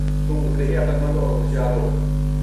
تم اتنے ہی عقل مند اور ہوشیار ہو۔